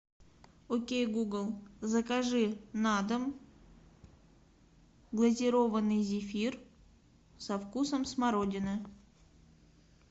окей гугл закажи на дом глазированный зефир со вкусом смородины